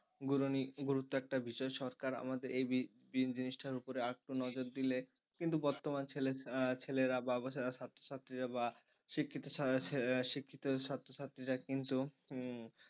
গুরুত্ব একটা বিষয় সরকার আমাদের এই জিনিসটার উপরে আর একটু নজর দিলে কিন্তু বর্তমান ছেলে ছেলের বা ছাত্রছাত্রীরা শিক্ষিত ছেলের শিক্ষিত ছাত্রছাত্রীরা কিন্তু উম